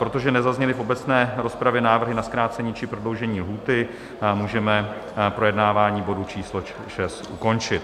Protože nezazněly v obecné rozpravě návrhy na zkrácení či prodloužení lhůty, můžeme projednávání bodu číslo 6 ukončit.